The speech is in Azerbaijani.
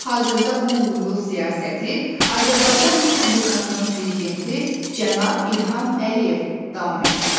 Hazırda bu uğurlu siyasəti Azərbaycan Respublikasının prezidenti cənab İlham Əliyev davam etdirir.